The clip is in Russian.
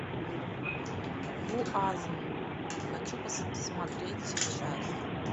вуазен хочу смотреть сейчас